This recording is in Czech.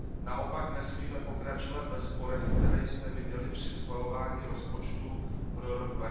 Naopak nesmíme pokračovat ve sporech, které jsme viděli při schvalování rozpočtu pro rok